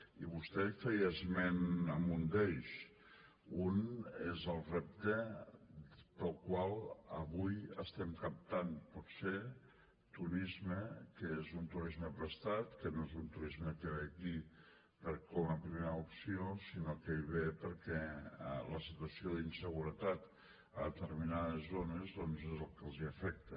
i vostè feia esment d’un d’ells un és el repte pel qual avui estem captant potser turisme que és un turisme prestat que no és un turisme que ve aquí com a primera opció sinó que ve perquè la situació d’inseguretat a determinades zones doncs és el que els afecta